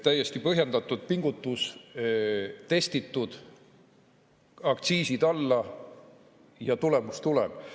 Täiesti põhjendatud pingutus, testitud: aktsiisid alla ja tulemus tuleb.